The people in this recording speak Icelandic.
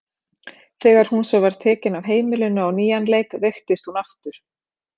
Þegar hún svo var tekin af heimilinu á nýjan leik veiktist hún aftur.